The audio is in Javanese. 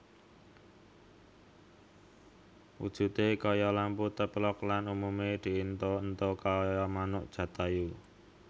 Wujudé kaya lampu téplok lang umumé diéntho éntho kaya manuk Jatayu